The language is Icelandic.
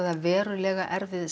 er verulega erfið er